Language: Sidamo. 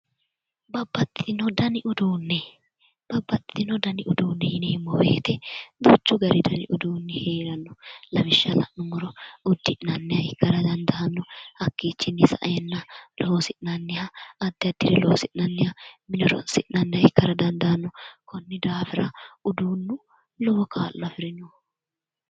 babbaxxino dani uduunne babbaxxino dani uduunne yineemmowoyite duuchu dani uduunni heeranno lawishsha la'nummoro uddi'nanniha ikkara dandaanno hakkichinni saeennano loosi'nanniha addi addire loosi'nanniha mine loosi'nanniha ikkara dandaanno konnira uduunnu jawa horo afirino.